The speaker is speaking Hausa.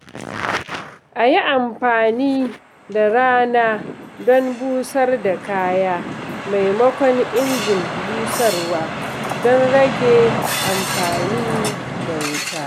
A yi amfani da rana don busar da kaya maimakon injin busarwa don rage amfani da wuta.